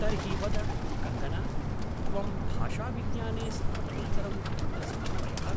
तर्हि वद, कङ्गना, त्वं भाषाविज्ञाने स्नातकोत्तरं कुत्र समापयः?